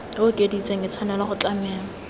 okeditsweng e tshwanetse go tlamelwa